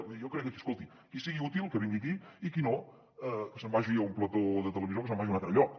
jo crec que escolti qui sigui útil que vingui aquí i qui no que se’n vagi a un plató de televisió o que se’n vagi a un altre lloc